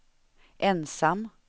ensam